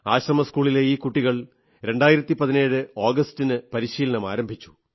ആശ്രമസ്കൂളിലെ ഈ കുട്ടികൾ 2017 ആഗസ്റ്റ് ന് പരിശീലനം ആരംഭിച്ചു